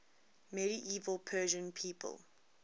medieval persian people